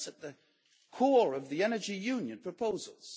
That is at the core of the Energy Union proposals.